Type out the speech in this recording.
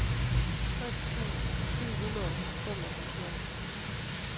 tres tusind syv hundrede og femoghalvfjerds